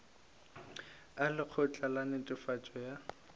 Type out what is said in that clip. a lekgotla la netefatšo ya